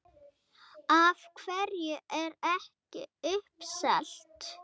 Af hverju er ekki uppselt?